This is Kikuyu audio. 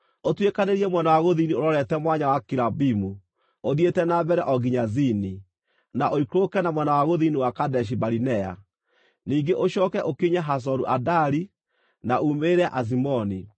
ũtuĩkanĩirie mwena wa gũthini ũrorete Mwanya wa Akirabimu, ũthiĩte na mbere o nginya Zini, na ũikũrũke na mwena wa gũthini wa Kadeshi-Barinea. Ningĩ ũcooke ũkinye Hazoru-Adari, na uumĩrĩre Azimoni,